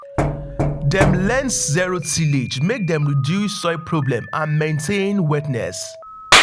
dem learned zero tillage make dem reduce soil problem and maintain wetness.